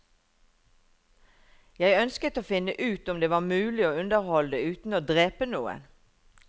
Jeg ønsket å finne ut om det var mulig å underholde uten å drepe noen.